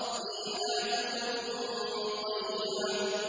فِيهَا كُتُبٌ قَيِّمَةٌ